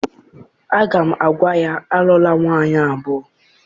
Aga m agwa ya, alụla nwaanyị abụọ!